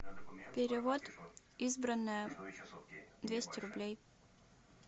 перевод избранное двести рублей